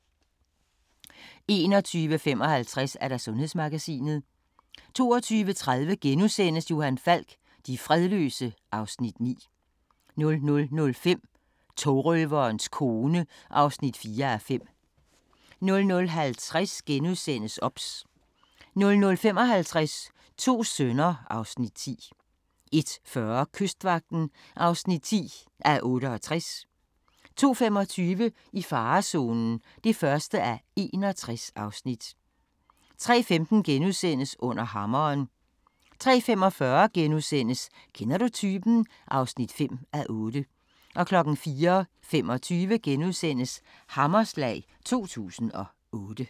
21:55: Sundhedsmagasinet 22:30: Johan Falk: De fredløse (Afs. 9)* 00:05: Togrøverens kone (4:5) 00:50: OBS * 00:55: To sønner (Afs. 10) 01:40: Kystvagten (10:68) 02:25: I farezonen (1:61) 03:15: Under hammeren * 03:45: Kender du typen? (5:8)* 04:25: Hammerslag 2008 *